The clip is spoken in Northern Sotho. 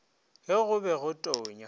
ge go be go tonya